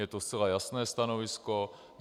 Je to zcela jasné stanovisko.